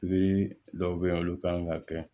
Yiri dɔw be yen nɔ olu kan ŋa kɛ